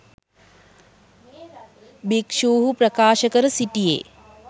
භික්ෂුහු ප්‍රකාශ කර සිටියේ